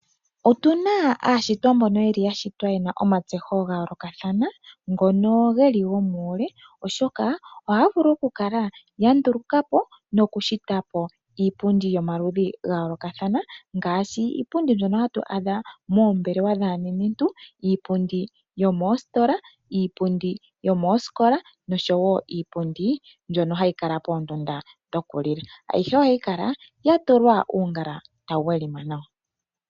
Otuna aashitwa mbono yeli yashitwa yena omatseho gayoolokathana , ngono geli gomuule oshoka ohaya vulu oku kala yandulukapo nokushitapo iipundi yomaludhi gayoolokathana, ngaashi iipundi mbyono hatu adha moombelewa dhaanenentu . Iipundi yomositola , iipundi yomosikola noshowo iipundi mbyono hayi kala moondunda dhoku li la . Ayihe ohayi kala yatulwa uungala tawu welima nawa.